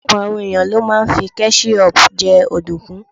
Ọ̀pọ̀lọpọ̀ àwọn ẹ̀yàn ló máa ń fí kẹ́ṣíhọpù jẹ ọ̀dùnkún.